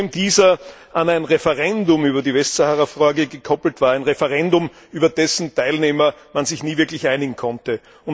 Zudem war dieser an ein Referendum über die Westsahara gekoppelt, ein Referendum, über dessen Teilnehmer man sich nie wirklich einigen konnte.